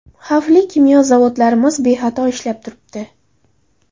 Xavfli kimyo zavodlarimiz bexato ishlab turibdi.